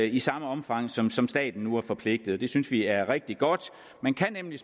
i samme omfang som som staten nu er forpligtet til det synes vi er rigtig godt man kan nemlig